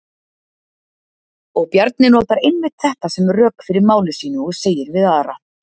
Og Bjarni notar einmitt þetta sem rök fyrir máli sínu og segir við Ara: